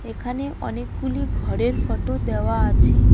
এখানে অনেকগুলি ঘরের ফটো দেওয়া আছে।